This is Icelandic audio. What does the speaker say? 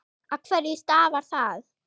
Af hverju stafar það?